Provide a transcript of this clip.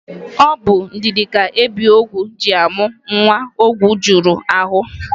Ọ bụ ndidi ka ebiogwu ji amụ nwa ogwu juru ahụ.